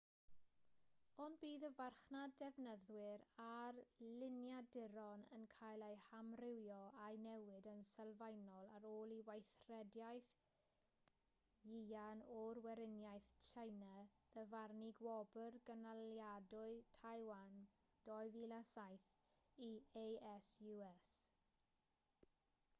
ond bydd y farchnad defnyddwyr ar liniaduron yn cael ei hamrywio a'i newid yn sylfaenol ar ôl i weithrediaeth yuan o weriniaeth tsieina ddyfarnu gwobr gynaliadwy taiwan 2007 i asus